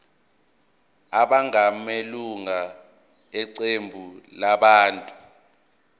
abangamalunga eqembu labantu